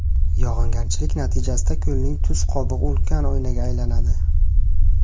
Yog‘ingarchilik natijasida ko‘lning tuz qobig‘i ulkan oynaga aylanadi.